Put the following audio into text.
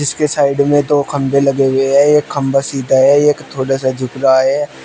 इसकी साइड में दो खंभे लगे हुए हैं एक खंभा सीधा है एक थोड़ा सा झुक रहा है।